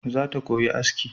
Zata koyi aski